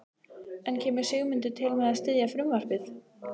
En kemur Sigmundur til með að styðja frumvarpið?